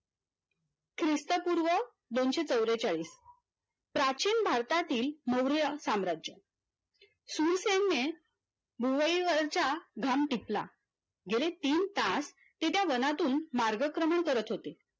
दोनश चौरेचालीस प्राचीन भारतातील मौर्य साम्राज्य शूरसैन्य, भुवई वरचा घाम टिपला गेले तीन तास ते त्या वनातून मार्गक्रमण करत होते